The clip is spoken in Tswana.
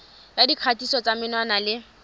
ya dikgatiso tsa menwana le